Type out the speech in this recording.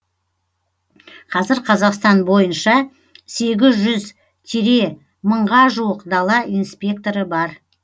қазір қазақстан бойынша сегіз жүз тире мыңға жуық дала инспекторы бар